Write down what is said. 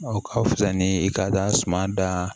O ka fisa ni i ka suman dan